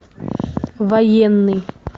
военный